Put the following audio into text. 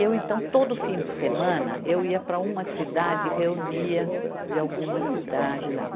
Eu, então, todo fim de semana, eu ia para uma cidade e reunia de alguma cidade lá.